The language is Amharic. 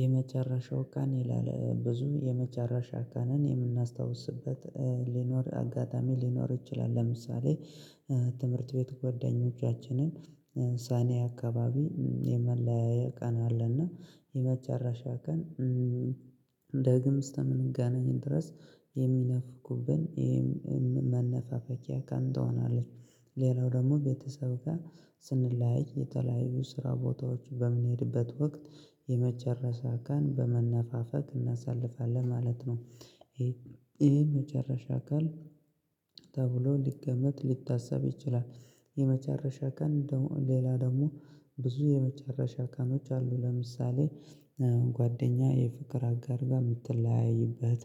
የመጨረሻው ቀን ይላል ብዙ የመጨረሻ ቀንን የምናስታውስበት ሊኖር አጋጣሚ ሊኖር ይችላል። ለምሳሌ ትምህርት ቤት ጓደኞቻችንን ሳኔያ አካባቢ የመለያያ ቀን አለና የመጨረሻ ቀን። ዳግም እስተምንገናኝ ድረስ የሚነፍቁብን ይሄም መነፋፈቂያ ቀን ትሆናለች። ሌላው ደግሞ ቤተሰብ ጋር ስንለያይ የተለያዩ ስራ ቦታዎች በምንሄድበት ወቅት የመጨረሻ ቀን በመነፋፈቅ እናሳልፋለን ማለት ነው። ይሄ ይሄ መጨረሻ ቀን ተብሎ ሊገመት ሊታሰብ ይችላል። የመጨረሻ ቀን ሌላ ደግሞ ብዙ የመጨረሻ ቀኖች አሉ። ለምሳሌ ጓደኛ የፍቅር አጋር ጋር የምትለያይበት